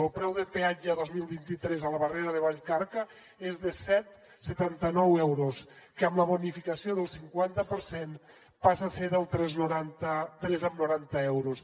el preu de peatge el dos mil vint tres a la barrera de vallcarca és de set coma setanta nou euros que amb la bonificació del cinquanta per cent passa a ser de tres coma noranta euros